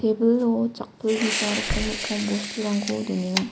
tebilo chakpilgija rokkom rokkom bosturangko donenga.